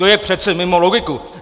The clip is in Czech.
To je přece mimo logiku!